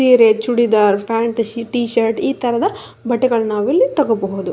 ಸೀರೆ churidar pant T shirt ಈ ತರಹದ ಬಟ್ಟೆಗಳನ್ನು ನಾವು ಇಲ್ಲಿ ತಗೋಬಹುದು.